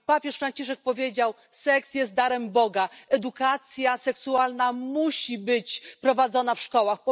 Papież Franciszek powiedział Seks jest darem Boga. Edukacja seksualna musi być prowadzona w szkołach.